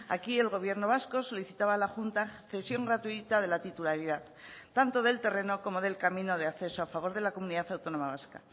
aquí el gobierno vasco solicitaba a la junta cesión gratuita de la titularidad tanto del terreno como del camino de acceso a favor de la comunidad autónoma vasca